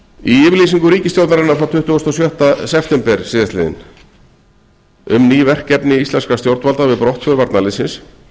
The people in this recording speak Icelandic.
yfirlýsingu ríkisstjórnarinnar frá tuttugasta og sjötta september síðastliðnum um ný verkefni íslenskra stjórnvalda við brottför varnarliðsins